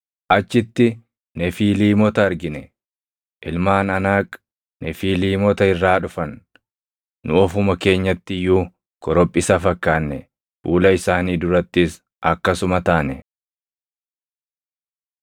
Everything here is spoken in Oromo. Achitti Nefiiliimota argine; ilmaan Anaaq Nefiiliimota irraa dhufan. Nu ofuma keenyatti iyyuu korophisa fakkaanne; fuula isaanii durattis akkasuma taane.”